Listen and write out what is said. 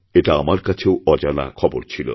এটা আমার কাছেও একটা অজানা খবরছিল